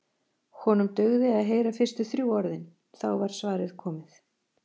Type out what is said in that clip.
Honum dugði að heyra fyrstu þrjú orðin, þá var svarið komið.